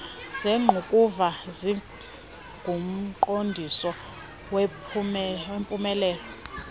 zengqukuva zingumqondiso wempumelelo